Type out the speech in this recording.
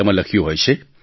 તેમાં લખ્યું હોય છે